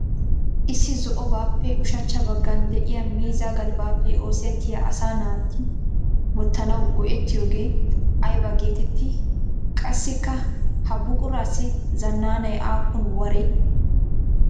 Issi zo''obaappe ushachcha bagan de'iya miizzaa galbbappe oosetiyaa asaa naati wotanawu go'ettiyogee aybba geetetti? Qassikka ha buqurassi zananay aapun waree?